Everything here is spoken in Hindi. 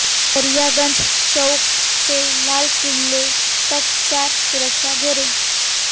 दरियागंज चौक से लाल किले तक चार सुरक्षा घेरे